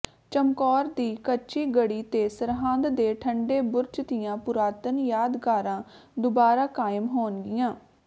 ਚਮਕੌਰ ਦੀ ਕੱਚੀ ਗੜ੍ਹੀ ਤੇ ਸਰਹਿੰਦ ਦੇ ਠੰਡੇ ਬੁਰਜ ਦੀਆਂ ਪੁਰਾਤਨ ਯਾਦਗਾਰਾਂ ਦੁਬਾਰਾ ਕਾਇਮ ਹੋਣਗੀਆਂ